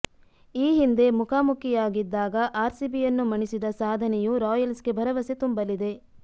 ಈ ಹಿಂದೆ ಮುಖಾಮುಖಿಯಾಗಿದ್ದಾಗ ಆರ್ಸಿಬಿಯನ್ನು ಮಣಿಸಿದ ಸಾಧನೆಯೂ ರಾಯಲ್ಸ್ಗೆ ಭರವಸೆ ತುಂಬಲಿದೆ